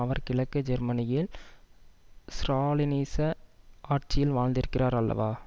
அவர் கிழக்கு ஜெர்மனியில் ஸ்ராலினிச ஆட்சியில் வாழ்ந்திருக்கிறார் அல்லவா